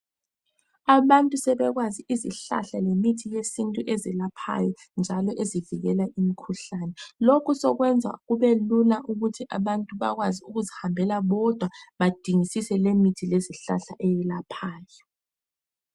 Abantu sebekwazi izihlahla lemithi yesintu ezelaphayo njalo ezivikela imikhuhlane, lokhu sokwenza kube lula ukuthi abantu bakwazi ukuzihambela bodwa badingisise lemithi lezihlahla eyelaphayo.